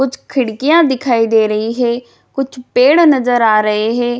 कुछ खिड़कियाँ दिखाई दे रही है। कुछ पेड़ नजर आ रहे है।